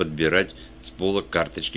подбирать с пола карточки